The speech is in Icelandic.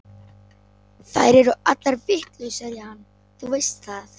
Þær eru allar vitlausar í hann, þú veist það.